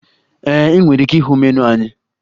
Ee, ị nwere ike ịhụ menu anyị.